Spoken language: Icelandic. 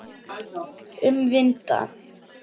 Um vinda.